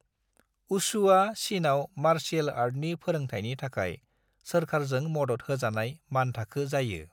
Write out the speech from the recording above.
वुशुआ चीनआव मार्शियेल आर्टनि फोरोंथायनि थाखाय सोरखारजों मदद होजानाय मानथाखो जायो।